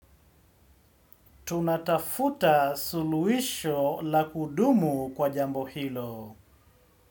Tunatafuta suluhisho la kudumu kwa jambo hilo.